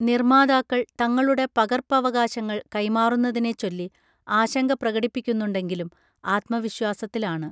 നിർമാതാക്കൾ തങ്ങളുടെ പകർപ്പവകാശങ്ങൾ കൈമാറുന്നതിനെച്ചൊല്ലി ആശങ്ക പ്രകടിപ്പിക്കുന്നുണ്ടെങ്കിലും ആത്മവിശ്വാസത്തിലാണ്